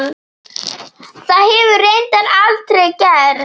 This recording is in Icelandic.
Það hefur reyndar aldrei gerst.